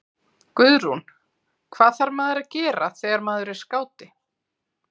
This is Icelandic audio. Guðrún: Hvað þarf maður að gera þegar maður er skáti?